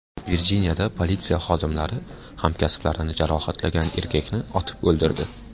Virjiniyada politsiya xodimlari hamkasblarini jarohatlagan erkakni otib o‘ldirdi.